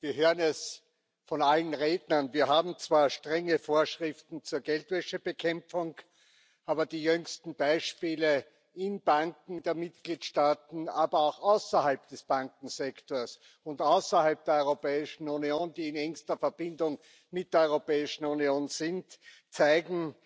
Wir hören es von allen Rednern Wir haben zwar strenge Vorschriften zur Geldwäschebekämpfung, aber die jüngsten Beispiele in Banken der Mitgliedstaaten, aber auch außerhalb des Bankensektors und außerhalb der Europäischen Union, die in engster Verbindung mit der Europäischen Union sind, zeigen,